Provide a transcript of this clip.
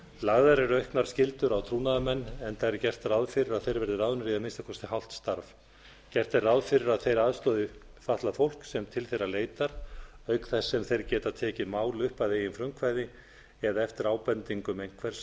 lagðar eru auknar skyldur á trúnaðarmenn enda er gert ráð fyrir að þeir verði ráðnir í að minnsta kosti hálft starf gert er ráð fyrir að þeir aðstoði fatlað fólk sem til þeirra leitar auk þess sem þeir geta tekið mál upp að eigin frumkvæði eða eftir ábendingum einhvers